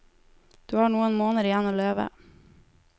Du har noen måneder igjen å leve.